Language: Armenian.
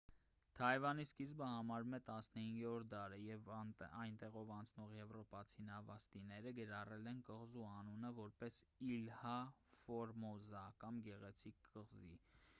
թայվանի սկիզբը համարվում է 15-րդ դարը երբ այնտեղով անցնող եվրոպացի նավաստիները գրառել են կղզու անունը որպես իլհա ֆորմոզա կամ գեղեցիկ կղզի